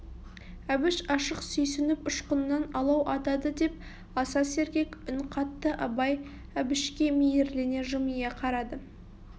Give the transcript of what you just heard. әбіш ашық сүйсініп ұшқыннан алау атады деп аса сергек үн қатты абай әбішке мейірлене жымия қарады